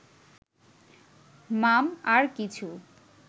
মাম... আর কিছু